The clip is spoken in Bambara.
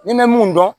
Ni bɛ mun dɔn